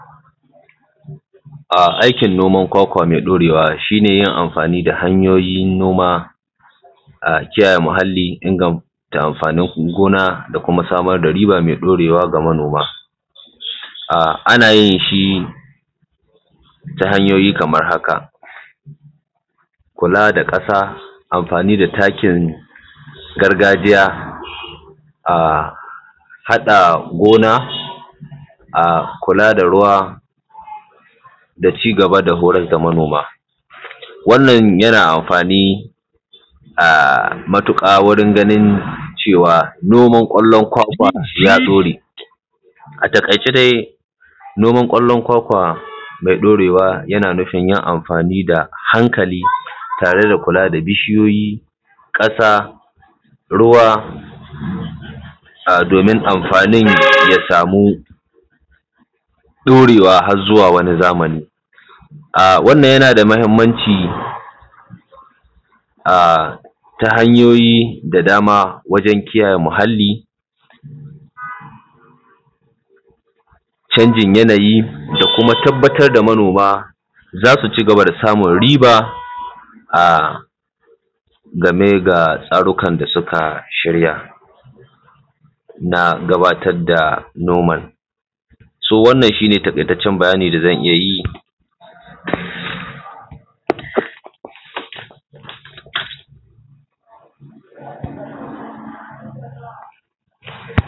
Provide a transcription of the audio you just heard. Aikin noman kwakwa mai ɗorewa shi ne yin amfani da hanyoyin noma, a kiyaye muhalli. Inganta amfanin gona da kuma samar da riba mai ɗorewa ga manoma. Ana yin shi ta hanyoyi kaman haka, kula da ƙasa, amfani da takin gargajiya, haɗa gona, kula da ruwa da cigaba da horar da manoma. Wannan yana amfani matuƙa wurin ganin cewa noman ƙwallon kwakwa ya ɗore, a taƙaice dai noman ƙwallon kwakwa mai ɗorewa yana nufin yin amfani da hankali tare da kula da bishiyoyi, ƙasa, ruwa, domin amfanin ya samu ɗorewa har zuwa wani zamani. Wannan yana da muhimmanci ta hanyoyi da dama wajan kiyaye muhalli, canjin yanayi da kuma tabbatar da manoma za su cigaba da samun riba a game da tsarukan da suka shirya na gabatar da noman. To wannan shi ne taƙaitaccen bayani da zan iyayi.